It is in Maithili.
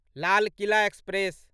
लाल किला एक्सप्रेस